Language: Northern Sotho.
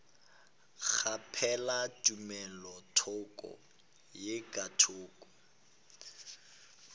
kgaphela tumelothoko ye ka thoko